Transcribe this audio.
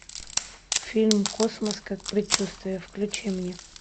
фильм космос как предчувствие включи мне